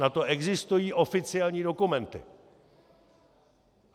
Na to existují oficiální dokumenty.